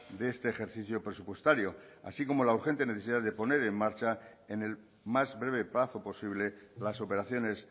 de este ejercicio presupuestario así como la urgente necesidad de poner en marcha en el más breve plazo posible las operaciones